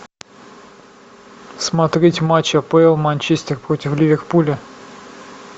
смотреть матч апл манчестер против ливерпуля